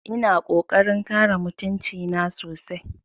Ina ƙoƙarin kare mutunci na sosai